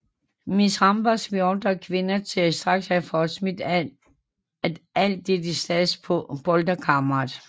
Miss Hambers beordrer kvinden til straks at få smidt at alt dette stads på pulterkammeret